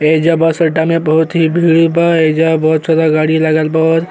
एहिजा बस अड्डा में बहुत भीड़ बा। एहिजा बहुत सारा गाड़ी लागल बा।